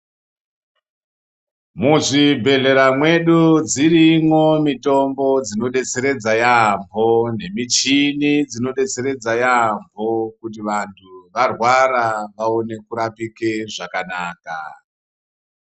Muzvibhedhlera mwedu dzirimwo mitombo dzinobetseredza yaamho. Nemichini dzinobetseredza yaamho kuti vantu varwara vaone kurapike zvakanaka.